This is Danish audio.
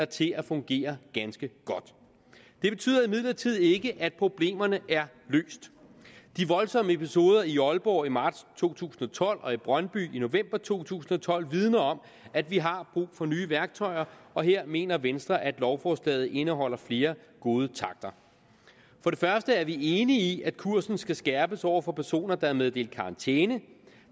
til at fungere ganske godt det betyder imidlertid ikke at problemerne er løst de voldsomme episoder i aalborg i marts to tusind og tolv og i brøndby i november to tusind og tolv vidner om at vi har brug for nye værktøjer og her mener venstre at lovforslaget indeholder flere gode takter for det første er vi enige i at kursen skal skærpes over for personer der er meddelt karantæne